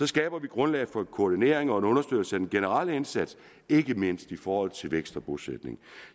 skaber vi grundlag for en koordinering og en understøttelse af den generelle indsats ikke mindst i forhold til vækst og bosætning